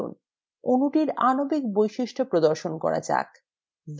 অণুটির আণবিক বৈশিষ্ট্য প্রদর্শন করা যাক